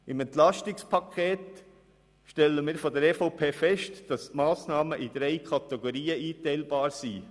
Beim EP stellen wir fest, dass die Massnahmen in drei Kategorien eingeteilt werden können.